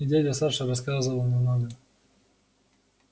и дядя саша рассказывал немного